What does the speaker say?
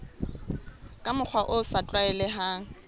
ka mokgwa o sa tlwaelehang